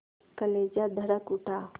कलेजा धड़क उठा